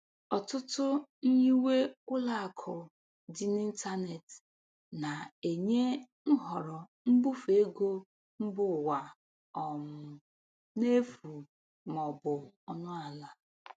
Ọtụtụ nyiwe ụlọakụ dị n'ịntanetị na-enye nhọrọ mbufe ego mba ụwa um n'efu ma ọ bụ ọnụ ala.